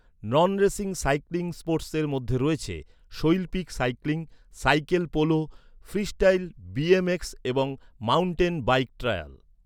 নন racing cycling স্পোর্টসের মধ্যে রয়েছে শৈল্পিক cycling, cycle polo, freestyle BMX এবং মাউন্টেন বাইক ট্রায়াল।